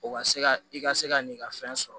O ka se ka i ka se ka n'i ka fɛn sɔrɔ